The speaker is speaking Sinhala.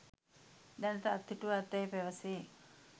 දැනට අත්හිටුවා ඇතැයි පැවැසේ.